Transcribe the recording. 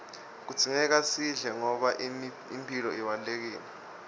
kudzingeka sidle ngoba imphilo ibalulekile